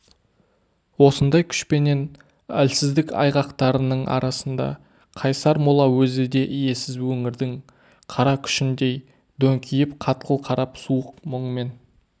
осындай күшпенен әлсіздік айғақтарының арасында қайсар мола өзі де иесіз өңірдің қара күшіндей дөңкиіп қатқыл қарап суық мұңмен